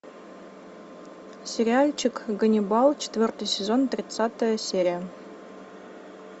сериальчик ганнибал четвертый сезон тридцатая серия